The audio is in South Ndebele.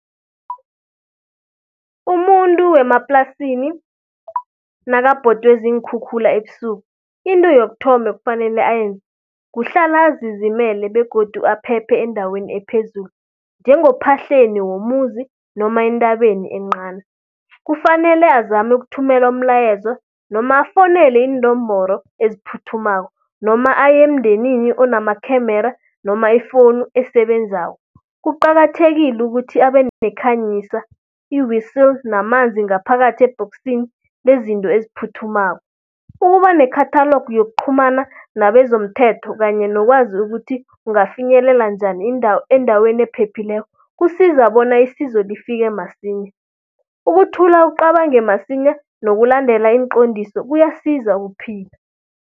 Umuntu wemaplasini, nakabhodwe ziinkhukhula ebusuku. Into yokuthoma ekufanele ayenze, kuhlala azizimele begodu aphephe endaweni ephezulu njengophahleni womuzi noma entabeni encani. Kufanele azame ukuthumela umlayezo noma afowunele iinomboro eziphuthumako noma aye emndenini onamakhemera noma ifowunu esebenzako. Kuqakathekile ukuthi abe nekhanyisa, i-whistle namanzi ngaphakathi ebhoksini lezinto eziphuthumako. Ukuba nekhathalogu yokuqhumana nabezomthetho kanye nokwazi ukuthi ungafinyelela njani endaweni ephephileko, kusiza bona isizo lifike masinya. Ukuthula ucabange masinya nokulandela iinqondiso kuyasiza ukuphila.